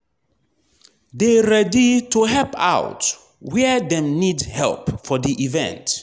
de ready to help out where dem need help for di event